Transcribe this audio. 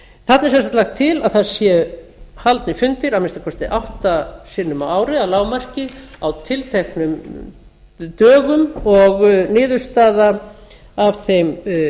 þarna er sem sagt lagt til að það séu haldnir fundir að minnsta kosti átta sinnum á ári að lágmarki á tilteknum dögum og niðurstaða af þeim